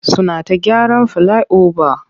Suna ta gyaran filai-oba.